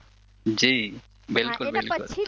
જી બિલકુલ